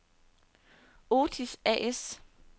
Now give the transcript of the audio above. Otis A/S